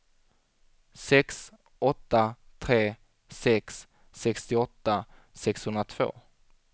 sex åtta tre sex sextioåtta sexhundratvå